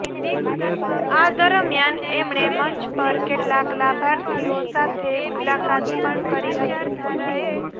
આ દરમિયાન એમણે મંચ પર કેટલાક લાભાર્થીઓ સાથે મુલાકાત પણ કરી હતી